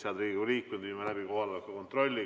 Head Riigikogu liikmed, viime läbi kohaloleku kontrolli.